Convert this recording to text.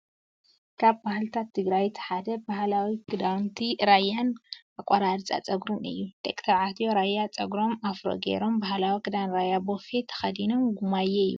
ካብ ባህልታት ትግራይ እቲ ሓደ ባህላዊ ክዳውንቲ ራያን ኣቆራርፃ ፀጉርን እዩ። ደቂ ተባዕትዮ ራያ ፀጉሮም ኣፍሮ ገይሮም ባህላዊ ክዳን ራያ ቦፌ ተከዲኖም ጉማየ ይብሉ።